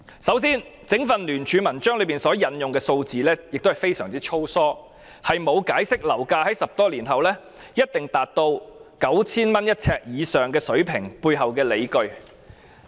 首先，整份聯署文件引用的數字非常粗疏，沒有解釋樓價在10多年後一定達到每呎 9,000 元以上水平背後的理據。